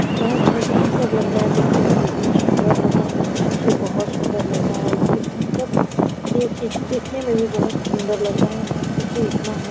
इतना अच्छा भयंकर लग रहा है देखने में इतना सुंदर लग रहा है। मत पूछिये बहुत सुंदर लग रहा है। यह भयंकर यह चीज देखने में भी बहुत सुंदर लग रहा है। मत पूछिये इतना--